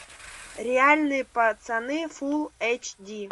реальные пацаны фул эйч ди